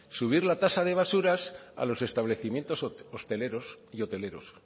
subir la tasa de basuras a los establecimientos hosteleros y hoteleros